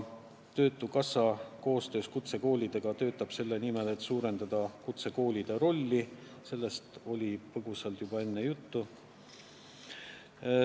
Töötukassa töötab koostöös kutsekoolidega selle nimel, et suurendada kutsekoolide rolli – sellest oli põgusalt juba enne juttu.